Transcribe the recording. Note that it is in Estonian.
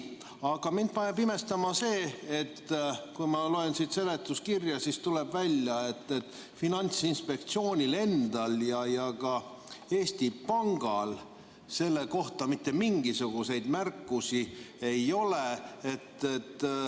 Aga mind paneb imestama see, et kui ma loen seda seletuskirja, siis tuleb välja, et Finantsinspektsioonil endal ja ka Eesti Pangal selle kohta mitte mingisuguseid märkusi ei ole.